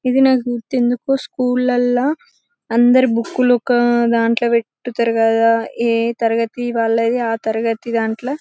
ఇది నాకు ఎందుకో స్కూల్ లల్ల్ల అందరూ బుక్ లు ఒక దన్తలో పెట్టి కదా ఆ తరగతి దన్తలో ఆ తరగతి దంట్ల--